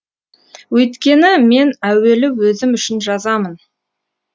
өйткені мен әуелі өзім үшін жазамын